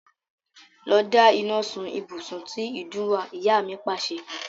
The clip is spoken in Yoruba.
Lọ da iná sun ibùsùn tí ìdun wà! Ìyá mi Pàṣẹ.